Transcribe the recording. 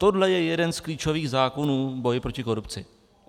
Tohle je jeden z klíčových zákonů boje proti korupci.